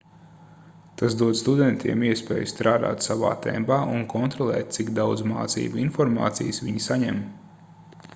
tas dod studentiem iespēju strādāt savā tempā un kontrolēt cik daudz mācību informācijas viņi saņem